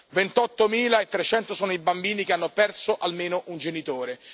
Ventottomila e trecento sono i bambini che hanno perso almeno un genitore.